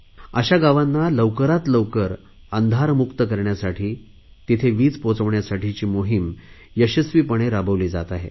अशा गावांना लवकरात लवकर अंधारमुक्त करण्यासाठी तिथे वीज पोहचविण्यासाठीची मोहिम यशस्वीपणे राबविली जात आहे